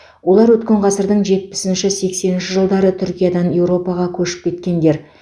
олар өткен ғасырдың жетпісінші сексенінші жылдары түркиядан еуропаға көшіп кеткендер